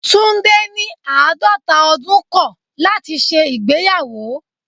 Tunde ní àádọ́ta ọdún kọ̀ láti ṣe ìgbéyàwó.